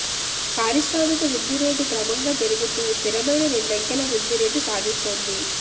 పారిశ్రామిక వృద్ధి రేటు క్రమంగా పెరుగుతూ స్థిరమైన రెండంకెల వృద్ధి రేటు సాధిస్తోంది